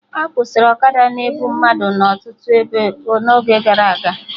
A kwụsịrị ọkada na-ebu mmadụ na ọtụtụ ebe n'oge gara aga